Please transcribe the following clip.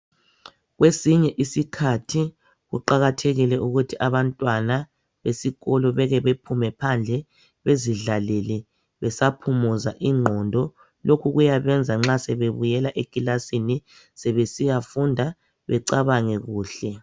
Kwesinye isikhathi kuqakathekile ukuthi abantwana besikolo beke bephume phandle bezidlalele besaphumuza ingqondo lokhu kuyabenza nxa sebebuyela ekilasini sebesiyafunda becabange kuhle.